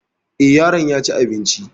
Eh, yaron yaci abinci